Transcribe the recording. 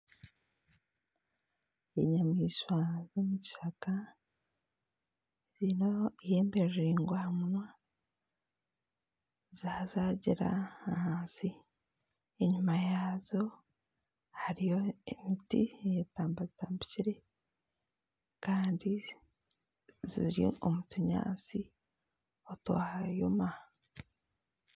Enyamaishwa z'omukishaka ziine eihembe riringwa zazagira ahansi enyuma yazo hariyo emiti eyetambatambikire kandi ziri omu tunyantsi otwayoma.